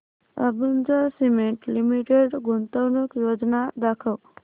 Ambuja cement limited गुंतवणूक योजना दाखव